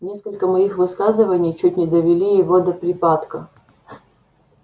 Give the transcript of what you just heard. несколько моих высказываний чуть не довели его до припадка